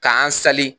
K'an sali